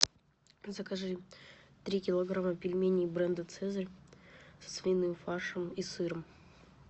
закажи три килограмма пельменей бренда цезарь со свиным фаршем и сыром